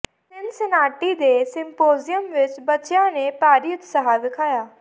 Cincinnati ਦੇ symposium ਵਿਚ ਬੱਚਿਆਂ ਨੇ ਭਾਰੀ ਉਤਸ਼ਾਹ ਵਿਖਾਇਆ